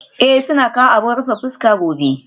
Ee, suna kawo abin rufe fuska gobe